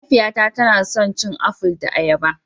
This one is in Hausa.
Mahaifiyata tana son cin aful da ayaba